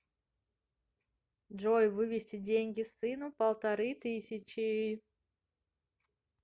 джой вывести деньги сыну полторы тысячи